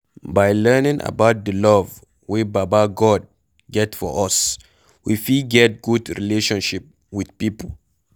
By learning about the love wey baba God get for us we fit get good relationship with pipo